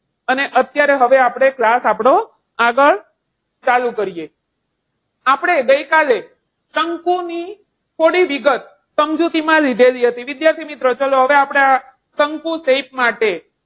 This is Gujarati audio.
અને અત્યારે હવે આપણે class આપણો કાગળ ચાલુ કરીએ. આપણે ગઈકાલે શંકુની થોડી વિગત સમજૂતીમાં લીધેલી હતી. વિદ્યાર્થી મિત્રો ચાલો આપણે શંકુ shape માટે,